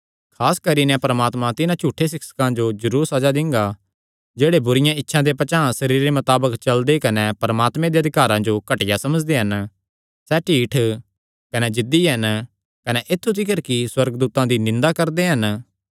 खास करी नैं परमात्मा तिन्हां झूठे सिक्षकां जो जरूर सज़ा दिंगा जेह्ड़े बुरिआं इच्छां दे पचांह़ सरीरे मताबक चलदे कने परमात्मे दे अधिकारां जो घटिया समझदे हन सैह़ ढीठ कने जिद्दी हन कने ऐत्थु तिकर कि सुअर्गदूतां दी निंदा करदे हन